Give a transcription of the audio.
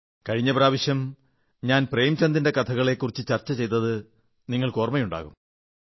കഴിഞ്ഞ പ്രാവശ്യം ഞാൻ പ്രേംചന്ദിന്റെ കഥകളെക്കുറിച്ച് ചർച്ച ചെയ്തത് നിങ്ങൾക്ക് ഓർമ്മയുണ്ടാകും